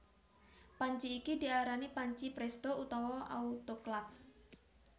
Panci iki diarani panci prèsto utawa autoklaf